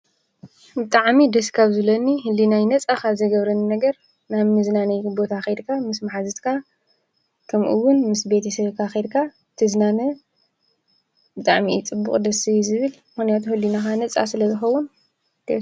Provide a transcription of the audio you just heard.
ብጣዕሚ ደስ ካብ ዝብለኒ ህሊናይ ነፃ ካብ ዝገብረኒ ነገር ናብ መዝናነዪ ቦታ ኸይድካ ምስ መሓዙትካ ከምኡውን ምስ ቤተሰብካ ከይድካ ትዝናነ ብጣዕሚ እዩ ፅቡቕ ደስ እዩ ዝብል ምኽንያቱ ህሊናኻ ነፃ ስለዝኸውን።